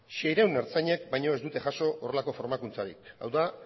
seiehun ertzainek baino ez dute jaso horrelako formakuntzarik hau da